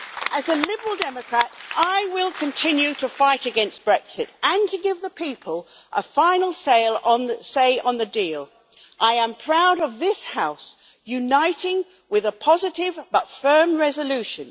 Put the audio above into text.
As a Liberal Democrat, I will continue to fight against Brexit, and to give the people a final say on the deal. I am proud of this House, uniting with a positive but firm resolution.